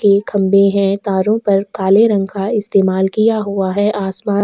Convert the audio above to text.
के खंबे हैं तारों पर काले रंग का इस्तेमाल किया हुआ है आसमान।